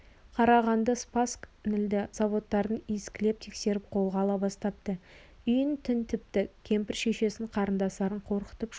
қарағанды спасск нілді заводтарын иіскелеп тексеріп қолға ала бастапты үйін тінтіпті кемпір шешесін қарындастарын қорқытып шулатып